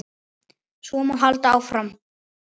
Svo má áfram halda.